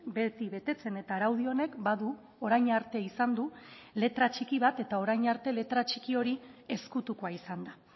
beti betetzen eta araudi honek badu orain arte izan du letra txiki bat eta orain arte letra txiki hori ezkutukoa izan da